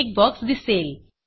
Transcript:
एक बॉक्स दिसेल